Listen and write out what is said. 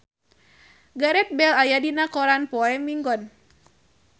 Gareth Bale aya dina koran poe Minggon